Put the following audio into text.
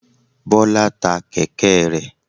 Bọ́lá ta kẹ̀kẹ́ rẹ̀.